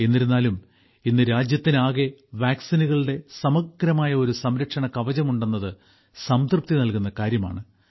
എന്നിരുന്നാലും ഇന്ന് രാജ്യത്തിനാകെ വാക്സിനുകളുടെ സമഗ്രമായ ഒരു സംരക്ഷണകവചം ഉണ്ടെന്നത് സംതൃപ്തി നൽകുന്ന കാര്യമാണ്